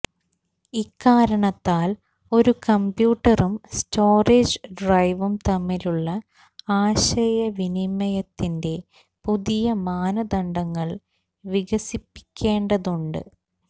ഇക്കാരണത്താൽ ഒരു കമ്പ്യൂട്ടറും സ്റ്റോറേജ് ഡ്രൈവും തമ്മിലുള്ള ആശയവിനിമയത്തിന്റെ പുതിയ മാനദണ്ഡങ്ങൾ വികസിപ്പിക്കേണ്ടതുണ്ട്